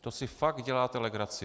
To si fakt děláte legraci.